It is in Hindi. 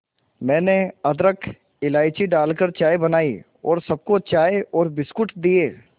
मैंने अदरक इलायची डालकर चाय बनाई और सबको चाय और बिस्कुट दिए